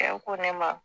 ne ma